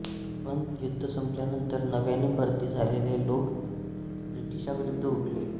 पण युद्ध संपल्यानंतर नव्याने भरती झालेले लोक ब्रिटिशांविरुद्ध उठले